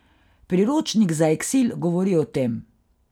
Priročnik za eksil govori o tem.